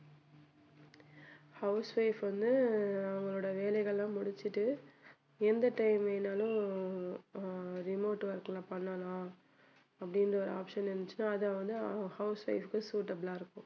housewife வந்து அவங்களோட வேலைகள் எல்லாம் முடிச்சிட்டு எந்த time வேணும்னாலும் ஹம் remote work ல பண்ணலாம் அப்படின்ற ஒரு option இருந்துச்சுன்னா அதை வந்த housewife க்கு வந்து suitable ஆ இருக்கும்